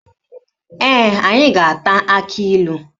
Ee, anyị ga-ata akilu.